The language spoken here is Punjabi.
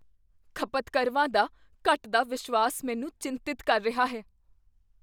ਖਪਤਕਰਵਾਂ ਦਾ ਘੱਟਦਾ ਵਿਸ਼ਵਾਸ ਮੈਨੂੰ ਚਿੰਤਤ ਕਰ ਰਿਹਾ ਹੈ।